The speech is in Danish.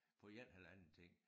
På 1 halvanden time